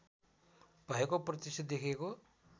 भएको प्रत्यक्ष देखिएको